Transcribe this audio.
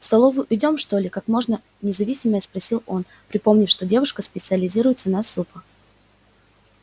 в столовую идём что ли как можно независимее спросил он припомнив что девушка специализируется на супах